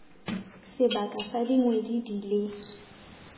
sebaka sa dikgwedi di le